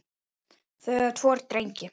Þau eiga tvo drengi